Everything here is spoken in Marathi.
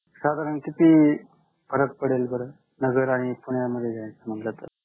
साधारण किती फरक पडेल बरं? नगर आणि पुण्यामध्ये घ्यायचे म्हंटल तर?